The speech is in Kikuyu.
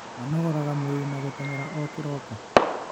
Manogoraga mwĩrĩ na gũtengera o kĩroko?